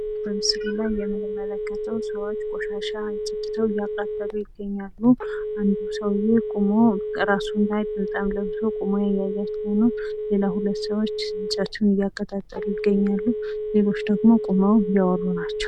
በምስሉ ላይ የምንመለከተው ሰዎች ቆሻሻ አፅድተው እያቃጠሉ ይገኛሉ አንድ ሰውዬ ቆሞ እራሱም ላይ ጥምጣም ለብሶ ቁሞ እያያቸው ነው ሌላ ሁለት ሰዎች እንጨቱን እያቀጣጠሉ ይገኛሉ ሌሎች ደግሞ ቁመው እያወሩ ናቸው።